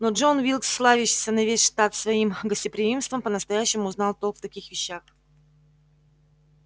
но джон уилкс славящийся на весь штат своим гостеприимством по-настоящему знал толк в таких вещах